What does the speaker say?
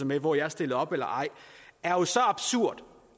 med hvor jeg stiller op eller ej er jo så absurd